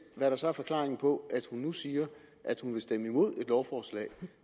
hvad der så er forklaringen på at hun nu siger at hun vil stemme imod lovforslaget